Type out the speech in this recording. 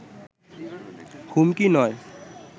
হুমকি নয়